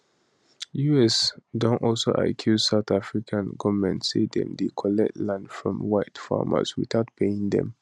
us don also accuse south african goment say dem dey collect land from white farmers witout paying dem